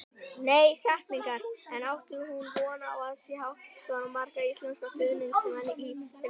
En átti hún von á að sjá svona marga íslenska stuðningsmenn í Finnlandi?